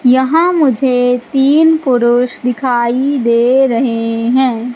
यहां मुझे तीन पुरुष दिखाई दे रहे हैं।